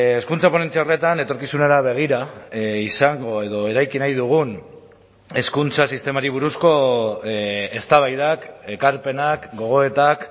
hezkuntza ponentzia horretan etorkizunera begira izango edo eraiki nahi dugun hezkuntza sistemari buruzko eztabaidak ekarpenak gogoetak